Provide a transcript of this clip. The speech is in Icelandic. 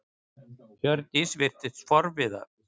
Hjördís virtist forviða.